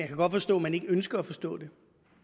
kan godt forstå man ikke ønsker at forstå det